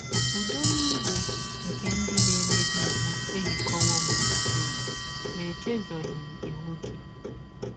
Ụdọ nile nke ndị na - emebi iwụ ehikọwọ m gbụrụgbụrụ; ma echezọghị m iwụ gị. ”